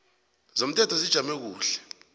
zomthelo zijame kuhle